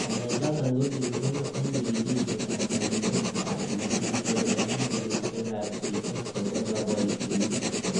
Ngalechoton ko kimongu en chigilisietab kayumetab chigilisiet en kompunisiek ab chichok chebo koboitinik.